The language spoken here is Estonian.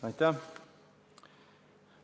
Aitäh!